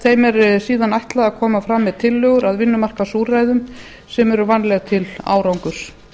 þeim er síðan ætlað að koma fram með tillögur að vinnumarkaðsúrræðum sem eru vænleg til árangurs